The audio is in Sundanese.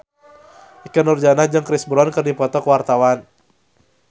Ikke Nurjanah jeung Chris Brown keur dipoto ku wartawan